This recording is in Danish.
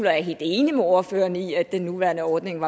er helt enig med ordføreren i at den nuværende ordning